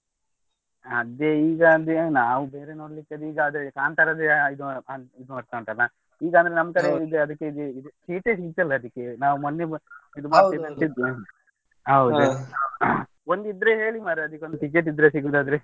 ಅದೇ ಈಗ ಅದೇ ನಾವು ಬೇರೆ ನೋಡ್ಲಿಕ್ ಅದೇ ಈಗ ಕಾಂತರಾದೆ ಇದೆ ಇದು ಆಗ್ತಾ ಉಂಟಲ್ಲ. ಈಗ ಅಂದ್ರೆ ನಮ್ ಕಡೆಯಿಂದ ಅದೇ seat ಎ ಸಿಕ್ತಾ ಇಲ್ಲ ಅದಿಕ್ಕೆ ನಾವು ಮೊನ್ನೆ ಹೋಗಿದ್ದೆ ಹೌದು ಒಂದು ಇದ್ರೆ ಹೇಳಿ ಮಾರೆ ಅದ್ಕೆ ಒಂದು ticket ಸಿಗುದಾದ್ರೆ.